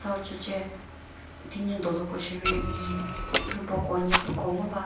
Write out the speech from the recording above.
uchüche tünyi dolüko sheri umm süboko nyepüko sheri ngo va.